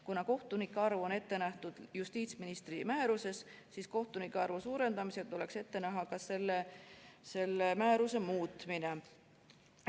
Kuna kohtunike arv on ette nähtud justiitsministri määruses, siis kohtunike arvu suurendamisega tuleks ette näha ka selle määruse muutmine.